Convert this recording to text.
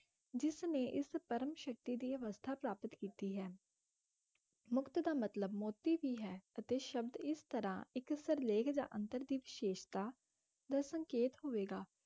ਜਿਸ ਨੇ ਇਸ ਪਰਮ ਸ਼ਕਤੀ ਦੀ ਅਵਸਥਾ ਪ੍ਰਾਪਤ ਕੀਤੀ ਹੈ ਮੁਕਤ ਦਾ ਮਤਲਬ ਮੋਤੀ ਵੀ ਹੈ, ਅਤੇ ਸ਼ਬਦ ਇਸ ਤਰ੍ਹਾਂ ਇੱਕ ਸਿਰਲੇਖ ਜਾਂ ਅੰਤਰ ਦੀ ਵਿਸ਼ੇਸ਼ਤਾ ਦਾ ਸੰਕੇਤ ਹੋਵੇਗਾ,